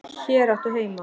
Hér áttu heima.